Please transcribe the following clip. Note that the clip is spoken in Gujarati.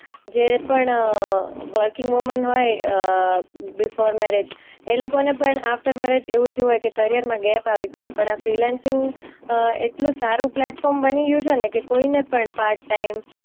જે પણ અ વર્કિંગ વુમન હોય અમ બીફોર મેરેજ એ લોકોને પણ આફ્ટર મેરેજ એવું થયું હોય કે કરિયર માં ગેપ આવી ગયું હોય પણ આ ફ્રીલાન્સિંગ એટલું સારું પ્લેટફોર્મ બની ગયું છે ને કે કોઈને પણ પાર્ટ ટાઈમ